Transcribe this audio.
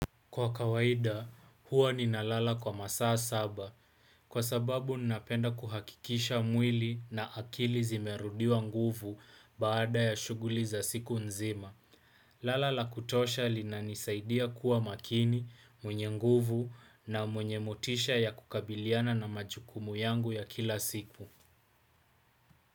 Kwa kawaida, huwa ninalala kwa masaa saba. Kwa sababu, ninapenda kuhakikisha mwili na akili zimerudiwa nguvu baada ya shughuli za siku nzima. Lala la kutosha linanisaidia kuwa makini, mwenye nguvu na mwenye motisha ya kukabiliana na majukumu yangu ya kila siku.